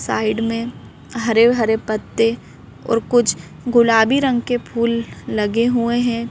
Side में हरे हरे पत्ते और कुछ गुलाबी रंग के फूल लगे हुए हैं।